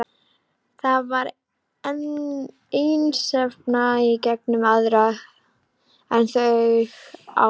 Þar var einstefna og engir aðrir en þau á ferð.